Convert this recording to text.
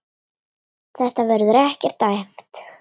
Þetta verður ekkert æft.